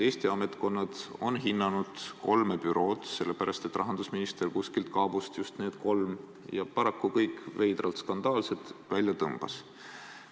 Eesti ametkonnad on hinnanud kolme bürood, sellepärast et rahandusminister kuskilt kaabust just need kolm, kes paraku kõik on veidralt skandaalsed, välja tõmbas.